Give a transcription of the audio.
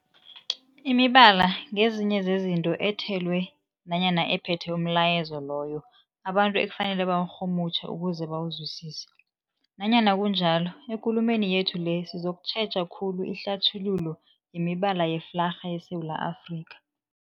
Imibala ngezinye zezinto ethelwe nanyana ephethe umlayezo loyo abantu ekufanele bawurhumutjhe ukuze bawuzwisise. Nanyana kunjalo, ekulumeni yethu le sizokutjheja khulu ihlathululo yemibala yeflarha yeSewula Afrika.